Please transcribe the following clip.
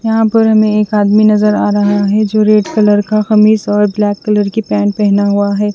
यहाँ पर हमे एक आदमी नज़र आ रहा है जो रेड कलर का कमीज और ब्लैक कलर की पेंट पहना हुआ है।